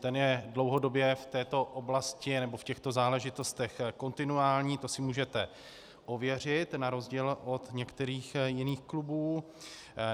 Ten je dlouhodobě v této oblasti nebo v těchto záležitostech kontinuální, to si můžete ověřit, na rozdíl od některých jiných klubů.